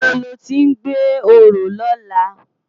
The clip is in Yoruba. Nibó lòti n gbé óró lòlá?